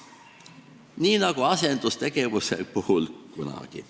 Nii nagu asendustegevuse puhul alati.